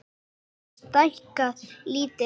Hann hefur stækkað lítið land